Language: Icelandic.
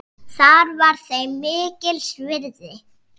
Það var þeim mikils virði.